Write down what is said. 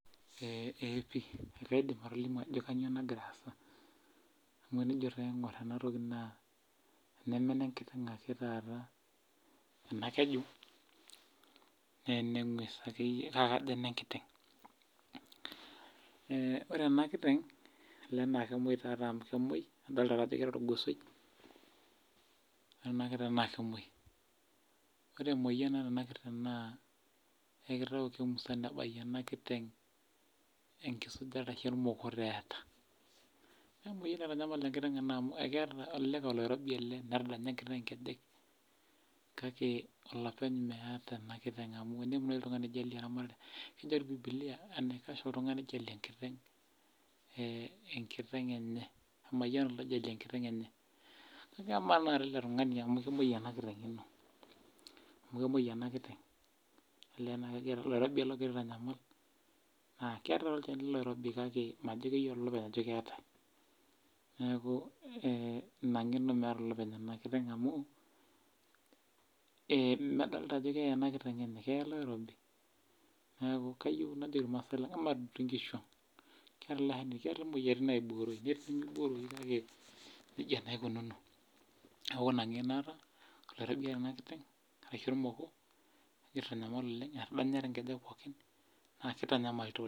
Ee pi kaidim atolimu ajo kanyioo nagira aasa. Amu enijo naa aing'or enatoki naa enemene nkiteng' ake taata ena keju, nene ng'ues akeyie kake kajo enenkiteng'. Ore enakiteng',ole na kemoi tatoi amu kemoi idolta ake ajo keeta orgosoi. Ore enakiteng' na kemoi. Ore emoyian naata enakiteng', naa jo kitau kemusana enakiteng' ashu ormokot eeta. Nemoyian naitanyamal enkiteng' ena amu ekeeta elelek oloirobi ele netadanya enkiteng' inkejek, kake olopeny meeta ena kiteng' amu enemu nai oltung'ani oijalie eramatare enye, kejo toi bibilia enaikash oltung'ani oijalie enkiteng',eh enkiteng' enye. Emayiana oloijalie enkiteng' enye. Kake amaa tanakata ele tung'ani amu kemoi ena kiteng',kemoi ena kiteng' olee na kajo oloirobi ele ogira aitanyamal, naa keetae tolchani loloirobi kake majo keyiolo olopeny ajo keetae. Neeku, ina ng'eno meeta olopeny ena kiteng' amu, medolta ajo keye ena kiteng' enye, keya ele oirobi. Neeku, kayieu najoki irmaasai lang' ematud inkishu ang'. Keetae imoyiaritin naibooroyu. Ketii nimibooroyu kake nejia naa ikununo. Neeku ina ng'eno aata, oloirobi eeta ena kiteng',arashu ormoko, kegira aitanyamal oleng' etadanya ti nkejek pookin, na kitanyamal toleng'.